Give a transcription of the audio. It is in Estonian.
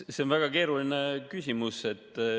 See on väga keeruline küsimus.